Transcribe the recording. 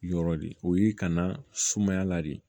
Yɔrɔ de o y'i kana sumaya la de